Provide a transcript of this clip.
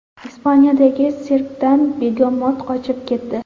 Ispaniyadagi sirkdan begemot qochib ketdi .